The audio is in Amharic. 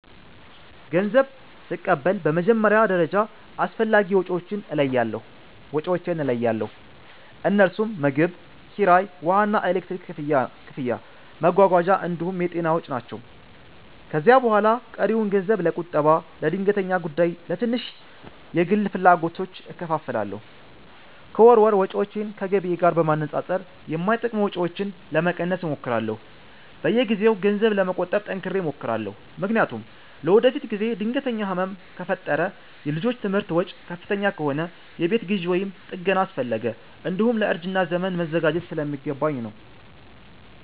ገንዘብ ስቀበል በመጀመሪያ ደረጃ አስፈላጊ ወጪዎቼን እለያለሁ፤ እነርሱም ምግብ፣ ኪራይ፣ ውሃና ኤሌክትሪክ ክፍያ፣ መጓጓዣ እንዲሁም የጤና ወጪ ናቸው። ከዚያ በኋላ ቀሪውን ገንዘብ ለቁጠባ፣ ለድንገተኛ ጉዳይና ለትንሽ የግል ፍላጎቶች እከፋፍላለሁ። ከወር ወር ወጪዎቼን ከገቢዬ ጋር በማነጻጸር የማይጠቅሙ ወጪዎችን ለመቀነስ እሞክራለሁ። በየጊዜው ገንዘብ ለመቆጠብ ጠንክሬ እሞክራለሁ፤ ምክንያቱም ለወደፊት ጊዜ ድንገተኛ ህመም ከፈጠረ፣ የልጆች ትምህርት ወጪ ከፍተኛ ከሆነ፣ የቤት ግዢ ወይም ጥገና አስፈለገ፣ እንዲሁም ለእርጅና ዘመን መዘጋጀት ስለሚገባኝ ነው።